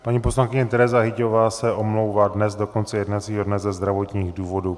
Paní poslankyně Tereza Hyťhová se omlouvá dnes do konce jednacího dne ze zdravotních důvodů.